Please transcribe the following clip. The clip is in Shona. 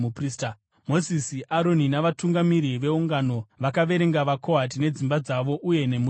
Mozisi, Aroni navatungamiri veungano vakaverenga vaKohati nedzimba dzavo uye nemhuri dzavo.